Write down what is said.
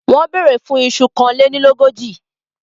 Wọ́n bèèrè fún un iṣu kánlénilógójì.